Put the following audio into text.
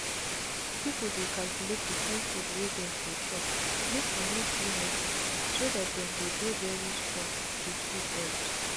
people dey calculate the kind food wey dem go chopmake e no too heavyso that dem go dey very strong with good health.